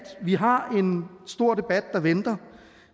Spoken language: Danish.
vi har en stor debat der venter